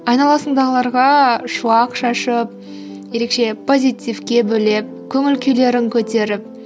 айналасындағыларға шуақ шашып ерекше позитивке бөлеп көңіл күйлерін көтеріп